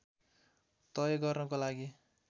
तय गर्नको लागि